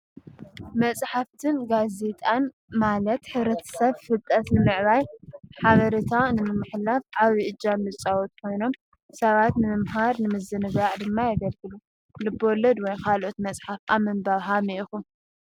መጽሓፍትን ጋዜጣን ማለት ሕብረተሰብ ፍልጠት ንምዕባይ ሓበሬታ ንምምሕላፍ ዓብይ እጃም ዝፃወቱ ኮይኖም ሰባት ንምምሃር ንምዝንጋዕ ድማ የገልግሉ። ልበ ወለድ ወይ ካልእ መፅሓፍ ኣብ ምንባብ ሀመይ ኢኹም?